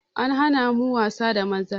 An hana mu wasa da maza